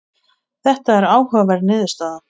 Þetta er áhugaverð niðurstaða.